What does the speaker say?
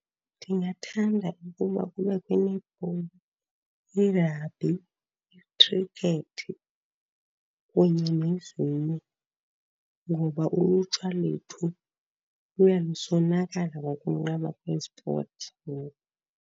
Ndingathanda ukuba kubekho i-netball, i-rugby, i-cricket, kunye nezinye. Ngoba ulutsha lethu luya lusonakala ngokunqaba kwesipoti ngoku.